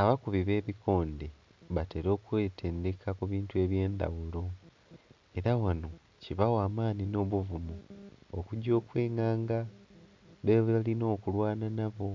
abakubi b'ebikonde batela okwetendeka ku bintu eby'endhaghulo. Era ghano kibawa amaani nh'obuvumu okugya okwinganga bebalina okulwana nabo.